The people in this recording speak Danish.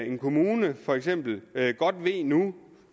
en kommune godt ved nu